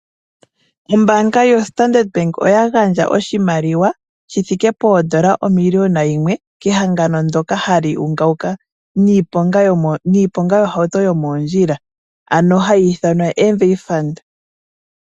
Ombaanga yoStandard Bank oya gandja oshimaliwa shi thike poodola omiliona yimwe kehangano ndyoka hali ungaunga niiponga yomoondjila ano hayi ithanwa MVA FUND.